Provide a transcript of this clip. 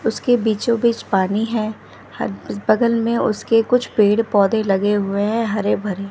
उसके बीचो बीच पानी है हद बगल में उसके कुछ पेड़-पौधे लगे हुए हैं हरे-भरे।